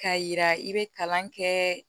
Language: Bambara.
K'a yira i bɛ kalan kɛ